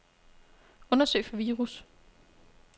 Undersøg for virus.